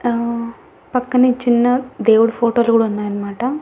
ఆ పక్కనే చిన్న దేవుడి ఫోటో లు కూడా ఉన్నాయనమాట.